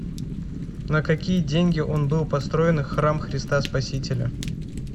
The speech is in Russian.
на какие деньги он был построен храм христа спасителя